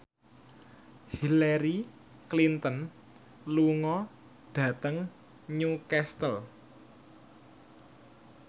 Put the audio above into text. Hillary Clinton lunga dhateng Newcastle